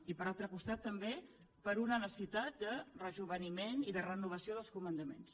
i per altre costat també per una necessitat de rejoveniment i de renovació dels comandaments